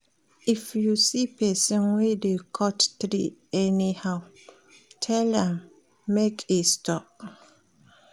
If you see pesin wey dey cut tree anyhow, tell am make e stop.